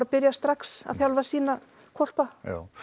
byrjað strax að þjálfa sína hvolpa